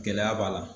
Gɛlɛya b'a la